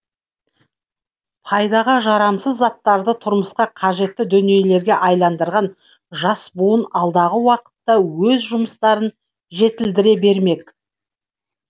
пайдаға жарамсыз заттарды тұрмысқа қажетті дүниелерге айналдырған жас буын алдағы уақытта өз жұмыстарын жетілдіре бермек